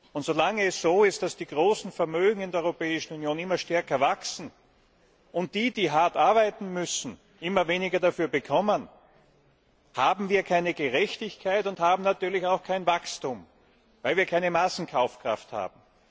Und solange es so ist, dass die großen Vermögen in der Europäischen Union immer stärker wachsen, und die, die hart arbeiten müssen, immer weniger dafür bekommen, haben wir keine Gerechtigkeit und haben natürlich auch kein Wachstum, weil wir keine Massenkaufkraft haben.